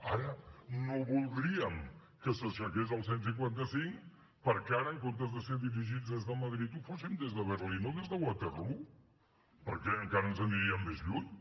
ara no voldríem que s’aixequés el cent i cinquanta cinc perquè ara en comptes de ser dirigits des de madrid ho fóssim des de berlín o des de waterloo perquè encara ens n’aniríem més lluny